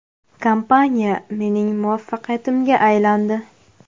Kompaniya mening muvaffaqiyatimga aylandi.